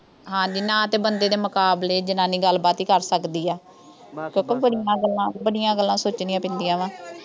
ਹਾਂਜੀ, ਨਾ ਤਾਂ ਬੰਦੇ ਦੇ ਮੁਕਾਬਲੇ ਜਨਾਨੀ ਗੱਲਬਾਤ ਕਰ ਸਕਦੀ ਆ। ਪਤਾ ਬੜੀਆਂ ਗੱਲਾਂ, ਬੜੀਆਂ ਗੱਲਾਂ ਸੋਚਣੀਆਂ ਪੈਂਦੀਆਂ ਵਾ।